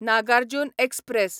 Nagarjun express